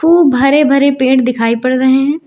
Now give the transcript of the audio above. खूब हरे भरे पेड़ दिखाई पड़ रहे हैं।